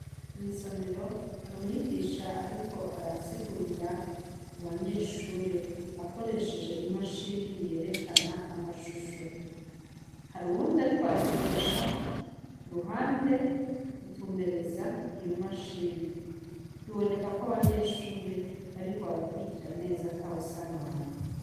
Mw'isomero, hari umwigisha ariko arasigurira abanyeshure akoresheje imashini yerekana amashusho. Hari uwundi ariko aramufasha ruhande, gutumbereza iyo mashini, biboneka ko abanyeshure bariko barakurikira neza, atawusamara.